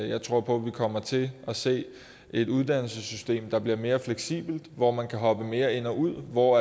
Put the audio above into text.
jeg tror på at vi kommer til at se et uddannelsessystem der bliver mere fleksibelt hvor man kan hoppe mere ind og ud hvor